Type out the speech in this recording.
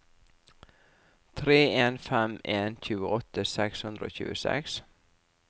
tre en fem en tjueåtte seks hundre og tjueseks